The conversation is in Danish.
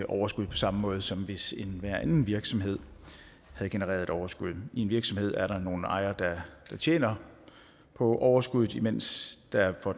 overskud på samme måde som hvis enhver anden virksomhed havde genereret et overskud i en virksomhed er der nogle ejere der tjener på overskuddet mens der i for